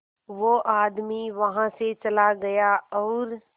वो आदमी वहां से चला गया और